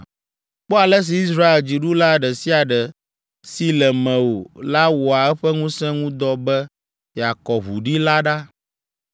“ ‘Kpɔ ale si Israel dziɖula ɖe sia ɖe si le mewò la wɔa eƒe ŋusẽ ŋu dɔ be yeakɔ ʋu ɖi la ɖa.